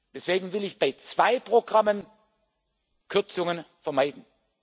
Deswegen will ich bei zwei Programmen Kürzungen vermeiden.